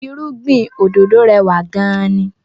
Irúgbìn òdòdó rẹwà gan-an ni